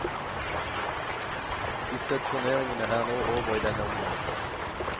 Disse turneringene er nå over i denne omgang.